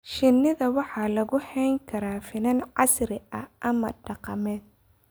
Shinnida waxaa lagu hayn karaa finan casri ah ama dhaqameed.